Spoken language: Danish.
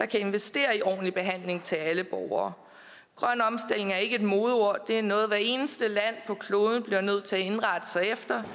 kan investere i ordentlig behandling til alle borgere grøn omstilling er ikke et modeord det er noget hvert eneste land på kloden bliver nødt til at indrette sig efter